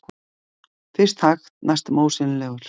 Fyrst hægt, næstum ósýnilegur.